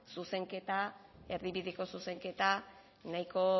erdibideko zuzenketa nahiko